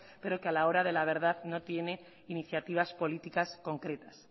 pero que a la hora de la verdad no tiene iniciativas políticas concretas